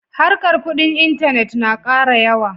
Harkar kuɗin intanet na ƙara yawa.